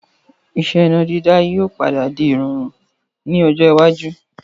Ìṣe mọ dáná yìí ó padà di ìrọ̀rùn wọ̀kùwọku ni ọjọ́ iwájú.